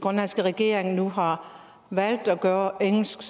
grønlandske regering nu har valgt at gøre engelsk